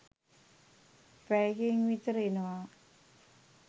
පැයකින් විතර එනවා